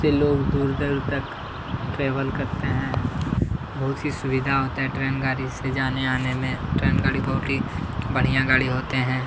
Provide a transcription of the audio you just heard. से लोग दूर दूर तक ट्रैवल करते हैं। बहुत ही सुविधा होता है ट्रेन गाड़ी से जाने आने में। ट्रेन गाड़ी बहुत ही बढ़िया गाड़ी होते हैं।